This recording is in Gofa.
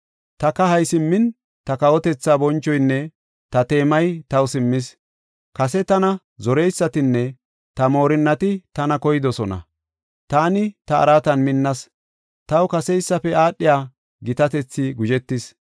Ta kahay simmin, ta kawotethaa bonchoynne ta teemay taw simmis. Kase tana zoreysatinne ta moorinnati tana koydosona. Taani ta araatan minnas; taw kaseysafe aadhiya gitatethi guzhetis.